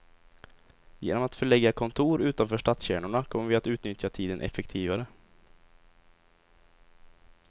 Genom att förlägga kontor utanför stadskärnorna kommer vi att utnyttja tiden effektivare.